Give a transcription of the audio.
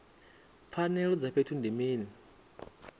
pfanelo dza vhuthu ndi mini